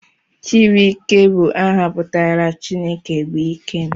Chibuikem bụ áhà pụtara 'Chineke bụ ike m'